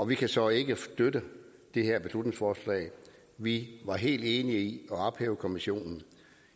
vi kan så ikke støtte det her beslutningsforslag vi var helt enige i at ophæve kommissionen